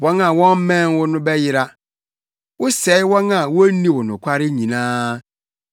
Wɔn a wɔmmɛn wo no bɛyera. Wosɛe wɔn a wonni wo nokware nyinaa.